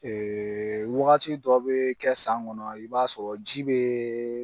Ɛɛ wagati dɔ be kɛ san kɔnɔ i b'a sɔrɔ ji bee